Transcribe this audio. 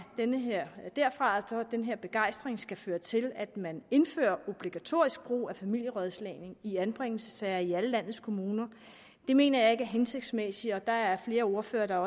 den her begejstring skal føre til at man indfører obligatorisk brug af familierådslagning i anbringelsessager i alle landets kommuner mener jeg ikke er hensigtsmæssigt og der er flere ordførere der